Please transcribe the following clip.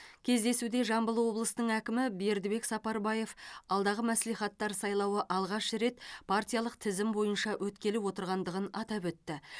кездесуде жамбыл облысының әкімі бердібек сапарбаев алдағы мәслихаттар сайлауы алғаш рет партиялық тізім бойынша өткелі отырғандығын атап өтті